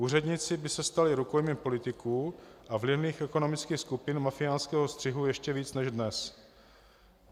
Úředníci by se stali rukojmími politiků a vlivných ekonomických skupin mafiánského střihu ještě víc než dnes.